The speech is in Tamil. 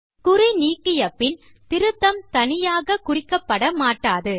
குறி நீக்கிய பின் திருத்தம் தனியாக குறிக்கப்பட மாட்டாது